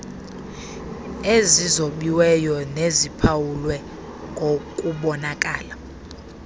ezizobiweyo neziphawulwe ngokubonakala